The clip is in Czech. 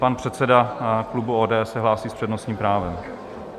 Pan předseda klubu ODS se hlásí s přednostním právem.